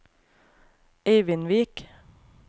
Eivindvik